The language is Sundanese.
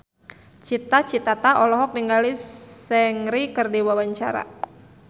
Cita Citata olohok ningali Seungri keur diwawancara